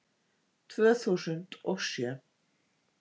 Tvö þúsund og sjö